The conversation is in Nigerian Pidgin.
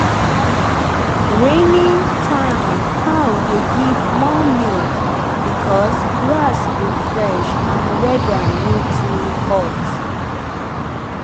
rainy time cow dey give more milk because grass go fresh and weather no too hot.